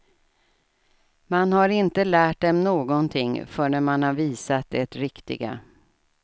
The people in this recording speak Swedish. Man har inte lärt dem någonting förrän man har visat det riktiga.